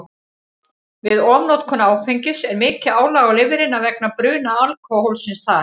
Við ofnotkun áfengis er mikið álag á lifrina vegna bruna alkóhólsins þar.